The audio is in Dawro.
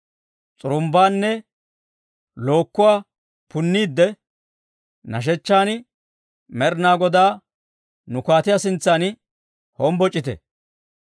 S'urumbbaanne lookkuwaa punniidde, nashshechchan Med'inaa Godaa nu kaatiyaa sintsan hombboc'ite.